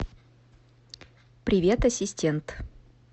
привет ассистент